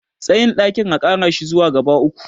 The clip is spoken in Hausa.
tsayin ɗakin a Kara shi zuwa gaba uku